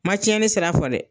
Ma tiɲɛ ni sira fɔ dɛ.